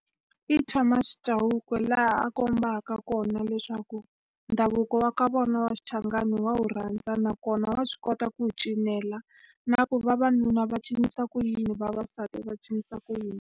I Thomas Chauke laha a kombaka kona leswaku ndhavuko wa ka vona wa xichangani wa wu rhandza, nakona wa swi kota ku wu cinela Na leswaku vavanuna va cinisa ku yini, vavasati va cinisa ku yini.